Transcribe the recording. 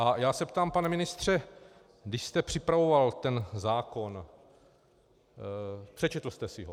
A já se ptám, pane ministře, když jste připravoval ten zákon, přečetl jste si ho?